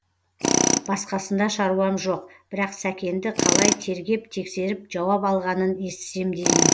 басқасында шаруам жоқ бірақ сәкенді қалай тергеп тексеріп жауап алғанын естісем деймін